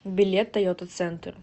билет тойота центр